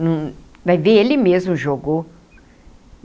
Vai ver, ele mesmo jogou.